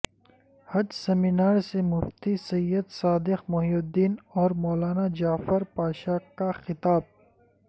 حج seminar سے Mufti Syed Sadiq Mohiuddin اور مولانا جعفر پاشاہ کا خطاب